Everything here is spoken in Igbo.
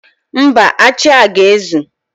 Mba, achị a ga-ezu.